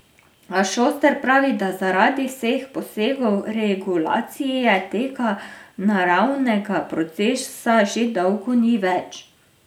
A Šoster pravi, da zaradi vseh posegov regulacije tega naravnega procesa že dolgo ni več.